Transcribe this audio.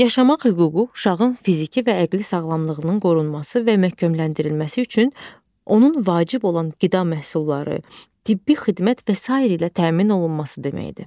Yaşamaq hüququ uşağın fiziki və əqli sağlamlığının qorunması və məhkəmləndirilməsi üçün onun vacib olan qida məhsulları, tibbi xidmət və sairə ilə təmin olunması deməkdir.